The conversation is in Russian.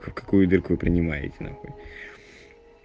в какую дырку вы принимаете нахуй